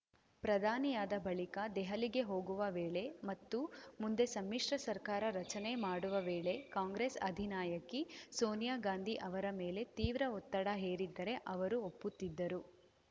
ಪ್ರಧಾನಿಯಾದ ಬಳಿಕ ದೆಹಲಿಗೆ ಹೋಗುವ ವೇಳೆ ಮತ್ತು ಮುಂದೆ ಸಮ್ಮಿಶ್ರ ಸರ್ಕಾರ ರಚನೆ ಮಾಡುವ ವೇಳೆ ಕಾಂಗ್ರೆಸ್‌ ಅಧಿನಾಯಕಿ ಸೋನಿಯಾಗಾಂಧಿ ಅವರ ಮೇಲೆ ತೀವ್ರ ಒತ್ತಡ ಹೇರಿದ್ದರೆ ಅವರು ಒಪ್ಪುತ್ತಿದ್ದರು